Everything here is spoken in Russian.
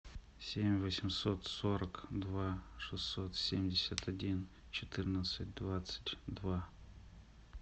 семь восемьсот сорок два шестьсот семьдесят один четырнадцать двадцать два